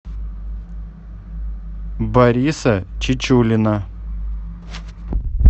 бориса чечулина